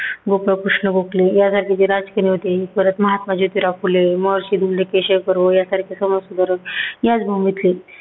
गोपाळकृष्ण गोखले, या राज्याचे राज केले होते. परत महात्मा ज्योतीराव फुले, महर्षी धोंडो केशव कर्वे यांसारखे समाजसुधारक याच भूमीतले.